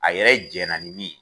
A yɛrɛ jɛna ni min ye